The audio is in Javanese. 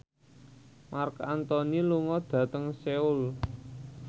Marc Anthony lunga dhateng Seoul